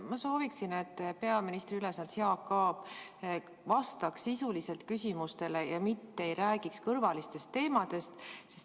Ma soovin, et peaministri ülesannetes olev Jaak Aab vastaks küsimustele sisuliselt, mitte ei räägiks kõrvalistel teemadel.